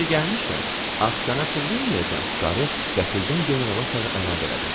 Yeri gəlmişkən, ax sənə pul verməyəcəm, qarı qəfildən generala sarı əlavə elədi.